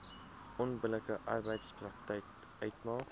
onbillike arbeidspraktyk uitmaak